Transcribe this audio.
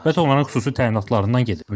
Söhbət onların xüsusi təyinatlarından gedir.